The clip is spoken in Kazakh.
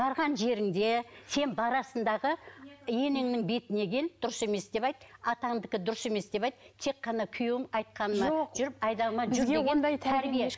барған жеріңде сен барасың дағы енеңнің бетіне кел дұрыс емес деп айт атаңдікі дұрыс емес деп айт тек қана күйеуім айтқаныма жүріп айдауыма жүр деген тәрбие